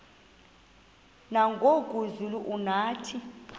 nangoku zulu uauthi